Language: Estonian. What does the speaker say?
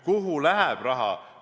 Kuhu läheb raha?